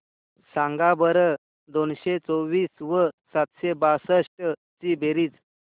सांगा बरं दोनशे चोवीस व सातशे बासष्ट ची बेरीज